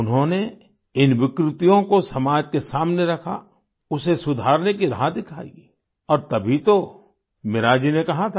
उन्होंने इन विकृतियों को समाज के सामने रखा उसे सुधारने की राह दिखाई और तभी तो मीरा जी ने कहा था